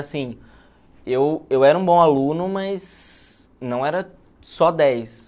Assim, eu eu era um bom aluno, mas não era só dez.